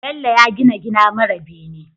Bello ya gina gida mara bene